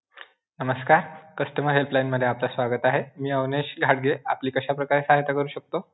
नमस्कार, customer helpline मध्ये आपलं स्वागत आहे. मी अविनाश जहागीर, आपली कश्या प्रकारे सहाय्यता करू शकतो?